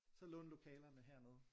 Så låne lokalerne hernede